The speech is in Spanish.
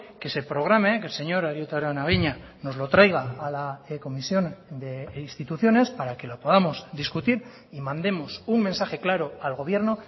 que se programe que el señor arieta araunabeña nos lo traiga a la comisión de instituciones para que lo podamos discutir y mandemos un mensaje claro al gobierno